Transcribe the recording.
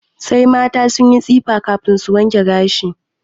Sai mata sun yi tsifa kafin su wanke gashi.